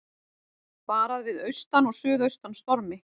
Varað við austan og suðaustan stormi